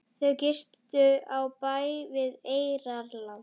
Þau gistu á bæ við Eyrarland.